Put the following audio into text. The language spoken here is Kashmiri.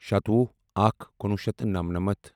شتوُہ اکھ کُنوُہ شیٚتھ تہٕ نَمنَمتھ